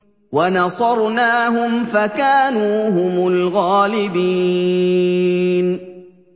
وَنَصَرْنَاهُمْ فَكَانُوا هُمُ الْغَالِبِينَ